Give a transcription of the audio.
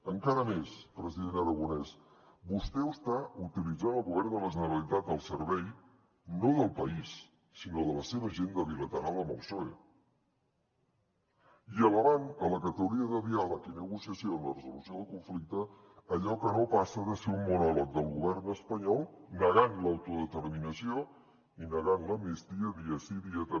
encara més president aragonès vostè està utilitzant el govern de la generalitat al servei no del país sinó de la seva agenda bilateral amb el psoe i elevant a la categoria de diàleg i negociació de la resolució del conflicte allò que no passa de ser un monòleg del govern espanyol negant l’autodeterminació i negant l’amnistia dia sí dia també